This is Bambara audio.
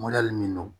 min don